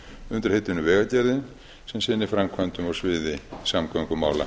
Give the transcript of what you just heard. undir heitinu vegagerðin sem sinni framkvæmdum á sviði samgöngumála